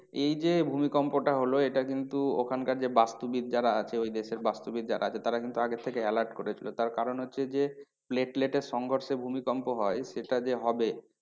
এই যে ভূমিকম্পটা হলো এটা কিন্তু ওখানকার যে বাস্তুবিদ যারা আছে ওই দেশের বাস্তুবিদ যারা আছে তারা কিন্তু আগে থেকে alert করেছিলো তার কারণ হচ্ছে যে platelet এর সংঘর্ষে ভুমিকম্প হয় সেটা যে হবে